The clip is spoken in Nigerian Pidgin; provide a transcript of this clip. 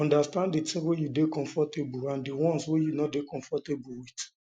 understand di things um wey you dey comfortable and di ones wey you no dey um comfortable with